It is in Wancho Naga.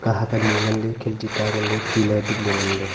kahak anyi nganle khinti ta nganle tina ee tukley nganle.